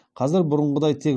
қазір бұрынғыдай тек